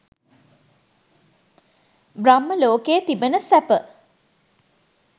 බ්‍රහ්ම ලෝකයේ තිබෙන සැප